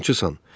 Yalançısan.